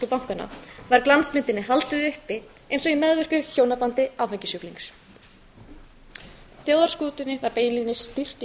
bankanna var glansmyndinni haldið uppi eins og í meðvirku hjónabandi áfengissjúklings þjóðarskútunni var beinlínis stýrt